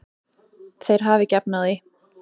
Þeir hafa ekki efni á því.